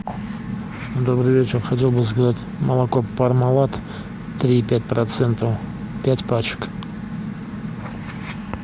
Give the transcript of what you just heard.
добрый вечер хотел бы заказать молоко пармалат три и пять процента пять пачек